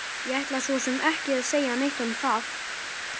Ég ætla svo sem ekki að segja neitt um það!